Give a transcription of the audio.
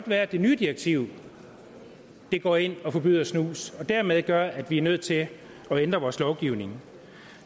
være at det nye direktiv går ind og forbyder snus og dermed gør at vi er nødt til at ændre vores lovgivning